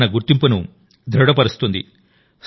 ఇది మన గుర్తింపును దృఢపరుస్తుంది